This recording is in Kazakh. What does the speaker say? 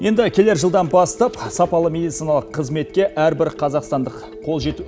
енді келер жылдан бастап сапалы медициналық қызметке әрбір қазақстандық қол жету